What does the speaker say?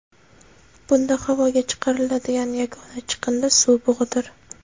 Bunda havoga chiqariladigan yagona chiqindi suv bug‘idir.